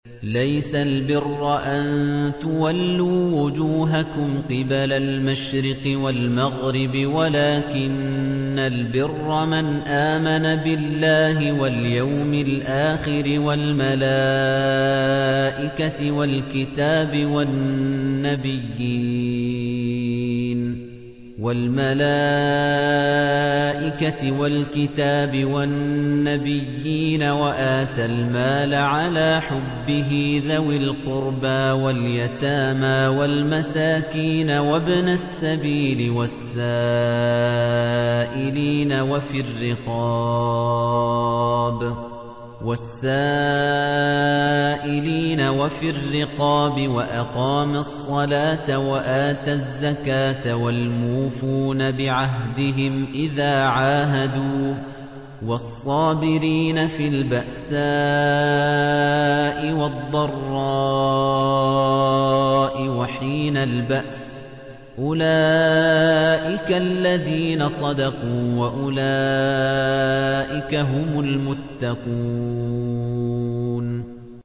۞ لَّيْسَ الْبِرَّ أَن تُوَلُّوا وُجُوهَكُمْ قِبَلَ الْمَشْرِقِ وَالْمَغْرِبِ وَلَٰكِنَّ الْبِرَّ مَنْ آمَنَ بِاللَّهِ وَالْيَوْمِ الْآخِرِ وَالْمَلَائِكَةِ وَالْكِتَابِ وَالنَّبِيِّينَ وَآتَى الْمَالَ عَلَىٰ حُبِّهِ ذَوِي الْقُرْبَىٰ وَالْيَتَامَىٰ وَالْمَسَاكِينَ وَابْنَ السَّبِيلِ وَالسَّائِلِينَ وَفِي الرِّقَابِ وَأَقَامَ الصَّلَاةَ وَآتَى الزَّكَاةَ وَالْمُوفُونَ بِعَهْدِهِمْ إِذَا عَاهَدُوا ۖ وَالصَّابِرِينَ فِي الْبَأْسَاءِ وَالضَّرَّاءِ وَحِينَ الْبَأْسِ ۗ أُولَٰئِكَ الَّذِينَ صَدَقُوا ۖ وَأُولَٰئِكَ هُمُ الْمُتَّقُونَ